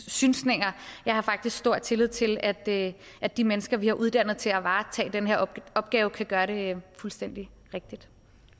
synsninger jeg har faktisk stor tillid til at at de mennesker vi har uddannet til at varetage denne opgave kan gøre det fuldstændig rigtigt